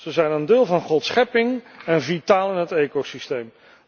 Ze zijn een deel van Gods schepping en vitaal in het ecosysteem.